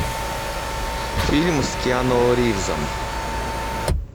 фильм с киану ривзом